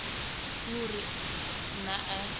ke ho re na e